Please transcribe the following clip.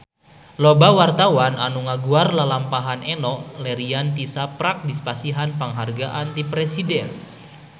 Loba wartawan anu ngaguar lalampahan Enno Lerian tisaprak dipasihan panghargaan ti Presiden